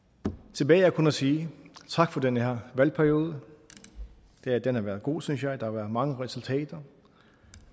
tilbage er kun at sige tak for den her valgperiode den har været god synes jeg der har været mange resultater